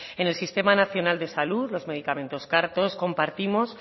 en el sistema nacional de salud los medicamentos car todos compartimos